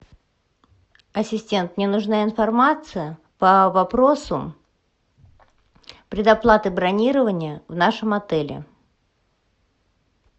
ассистент мне нужна информация по вопросу предоплаты бронирования в нашем отеле